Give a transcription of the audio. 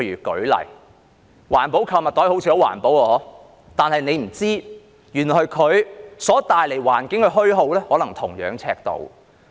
舉例說，環保購物袋好像很環保，但大家不知道的是，原來它所帶來的環境的虛耗可能是同樣尺度。